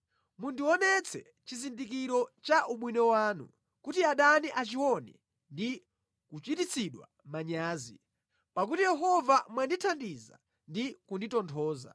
Mundionetse chizindikiro cha ubwino wanu kuti adani achione ndi kuchititsidwa manyazi, pakuti Yehova mwandithandiza ndi kunditonthoza.